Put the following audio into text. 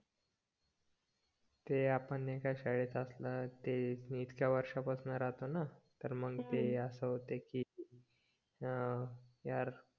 ते आपण एकाच शाळेत असणार ते मी इतक्या वर्षाप्सन राह्तोना तर मंग ते असं होत की अं यार